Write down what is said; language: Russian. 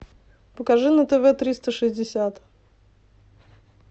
покажи на тв триста шестьдесят